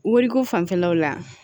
Wariko fanfɛlaw la